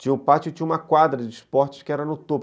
Tinha o pátio e tinha uma quadra de esportes que era no topo.